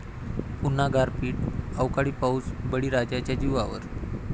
पुन्हा गारपीट, अवकाळी पाऊस बळीराजाच्या जीवावर!